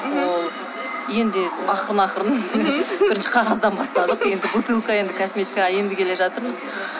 ол енді ақырын ақырын бірінші қағаздан бастадық енді бутылка енді косметикаға енді келе жатырмыз